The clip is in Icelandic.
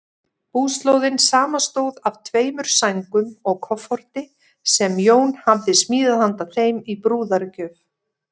Búslóðin samanstóð af tveimur sængum og kofforti, sem Jón hafði smíðað handa þeim í brúðargjöf.